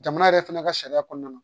Jamana yɛrɛ fɛnɛ ka sariya kɔnɔna